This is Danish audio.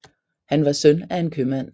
Han var søn af en købmand